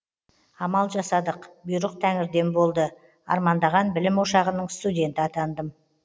амал жасадық бұйрық тәңірден болды армандаған білім ошағының студенті атандым